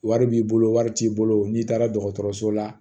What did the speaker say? Wari b'i bolo wari t'i bolo n'i taara dɔgɔtɔrɔso la